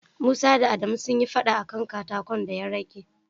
Musa da Adamu sun yi fada a ka katako da ya rage.